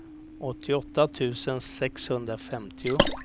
åttioåtta tusen sexhundrafemtio